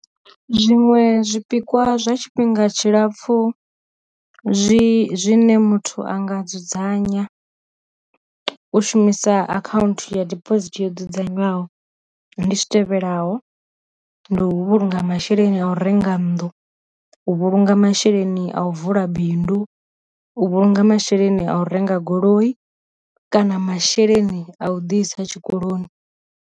Zwiṅwe zwipikwa zwa tshifhinga tshilapfu zwi zwine muthu anga dzudzanya u shumisa akhaunthu ya diphosithi yo dzudzanywaho ndi zwi tevhelaho, ndi u vhulunga masheleni a u renga nnḓu, u vhulunga masheleni a u vula bindu, u vhulunga masheleni a u renga goloi kana masheleni a u ḓi isa tshikoloni.